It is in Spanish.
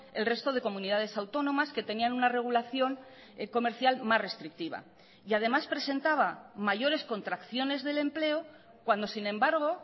el resto de comunidades autónomas que tenían una regulación comercial más restrictiva y además presentaba mayores contracciones del empleo cuando sin embargo